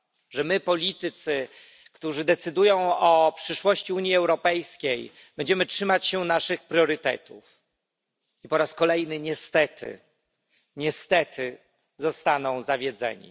Że my politycy, którzy decydują o przyszłości Unii Europejskiej, będziemy trzymać się naszych priorytetów. Po raz kolejny niestety zostaną zawiedzeni.